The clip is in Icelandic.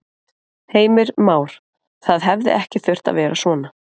Heimir Már: Það hefði ekki þurft að fara svona?